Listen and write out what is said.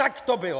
Tak to bylo!!